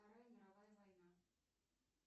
вторая мировая война